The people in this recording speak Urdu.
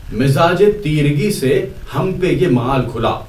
مزاجِ تیرگی سے ہم پہ یہ مآل کھلا